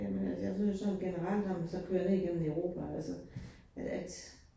Jamen altså jeg synes sådan generelt, når man så kører ned gennem Europa altså, at